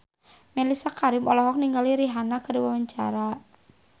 Mellisa Karim olohok ningali Rihanna keur diwawancara